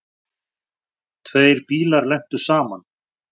Tveir bílar lentu saman.